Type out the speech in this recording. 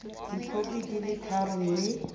dikhopi di le tharo mme